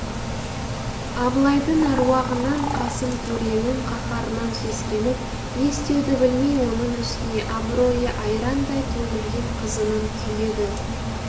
абылайдың аруағынан қасым төренің қаһарынан сескеніп не істеуді білмей оның үстіне абыройы айрандай төгілген қызының күйігі